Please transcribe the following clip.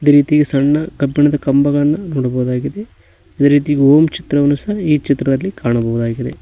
ರೀತಿ ಸಣ್ಣ ಕಬ್ಬಿಣದ ಕಂಬಗಳನ್ನ ನೋಡಬಹುದಾಗಿದೆ ಅದೇ ರೀತಿ ಓಂ ಚಿತ್ರವನ್ನು ಸಹ ಈ ಚಿತ್ರದಲ್ಲಿ ಕಾಣಬಹುದಾಗಿದೆ.